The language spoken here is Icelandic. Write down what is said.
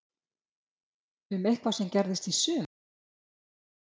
Um eitthvað sem gerðist í sumar?